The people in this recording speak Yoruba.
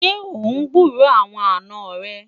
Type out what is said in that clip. ṣé ọ n gburó àwọn àná rè?